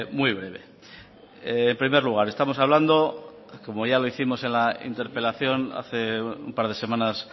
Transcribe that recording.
muy breve en primer lugar estamos hablando como ya lo hicimos en la interpelación hace un par de semanas